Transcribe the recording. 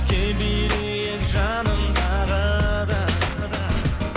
кел билейік жаным тағы да